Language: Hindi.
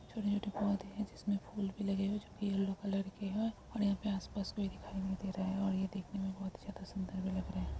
छोटे-छोटे पौधे है जिसमें फूल भी लगे हुए जो की येलो कलर के है और यहाँ पे आस-पास कोई दिखाई नहीं दे रहा है और यह देखने मे बहोत ही सुंदर भी लग रहा है।